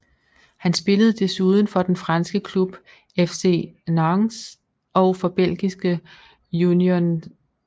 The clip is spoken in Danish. Han spillede desuden for den franske klub FC Nantes og for belgiske Union St